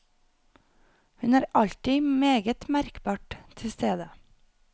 Hun er alltid meget merkbart til stede.